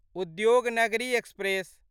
Udyognagari express